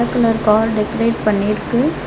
White colour car decorate பண்ணிருக்கு.